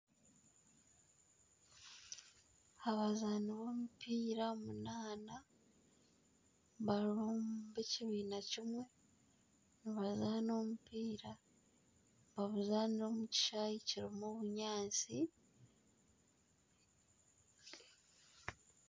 Abazaani b'omupiira munaana bari ab'ekibiina kimwe nibazaana omupiira nibaguzaanira omu kishaayi kirimu obunyaatsi